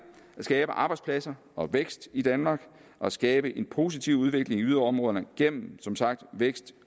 at skabe arbejdspladser og vækst i danmark og skabe en positiv udvikling i yderområderne gennem som sagt vækst